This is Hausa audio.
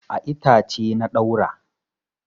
A itace na ɗaura.